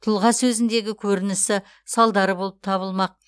тұлға сөзіндегі көрінісі салдары болып табылмақ